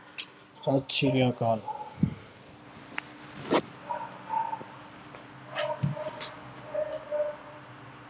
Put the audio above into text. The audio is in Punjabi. ਸਤਿ ਸ੍ਰੀ ਅਕਾਲ।